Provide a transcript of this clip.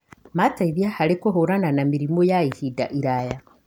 Mateithia harĩ kũhũrana na mĩrimũ ya ihinda iraya